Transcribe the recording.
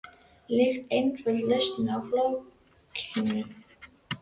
Líkt og einföld lausn á flókinni jöfnu.